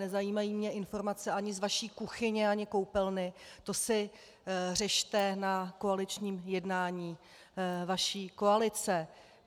Nezajímají mě informace ani z vaší kuchyně, ani koupelny, to si řešte na koaličním jednání vaší koalice.